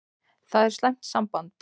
Það er slæmt samband.